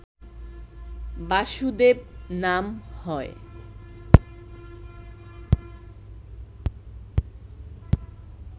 বাসুদেব নাম হয়